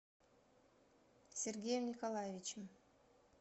сергеем николаевичем